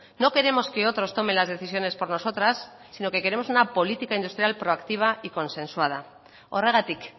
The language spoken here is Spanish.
no queremos que otros tomen las decisiones por nosotras sino que queremos una política industrial proactiva y consensuada horregatik